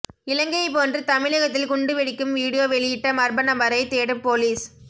இலங்கையை போன்று தமிழகத்தில் குண்டு வெடிக்கும் வீடியோ வெளியிட்ட மர்மநபரை தேடும் பொலிஸ்